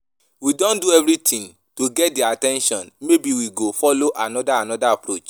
We don do everything to get their at ten tion maybe we go follow another another approach